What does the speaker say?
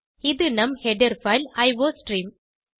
இது நம் header file iostream